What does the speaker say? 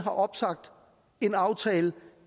opsagt en aftale